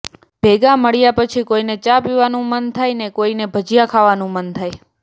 ભેગાં મળ્યા પછી કોઈને ચા પીવાનું મન થાય ને કોઈને ભજિયાં ખાવાનું મન થાય